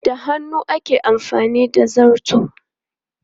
Da hannu ake amfani da zarto.